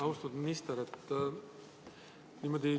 Austatud minister!